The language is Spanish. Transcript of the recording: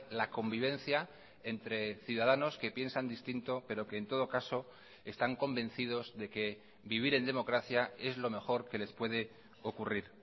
la convivencia entre ciudadanos que piensan distinto pero que en todo caso están convencidos de que vivir en democracia es lo mejor que les puede ocurrir